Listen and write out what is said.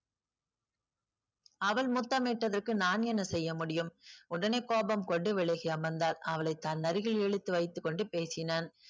அவள் முத்தமிட்டதற்கு நான் என்ன செய்ய முடியும் உடனே கோபம் கொண்டு விலகி அமர்ந்தாள் அவளை தன் அருகில் இழுத்து வைத்துக் கொண்டு பேசினான்